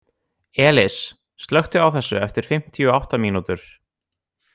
Elis, slökktu á þessu eftir fimmtíu og átta mínútur.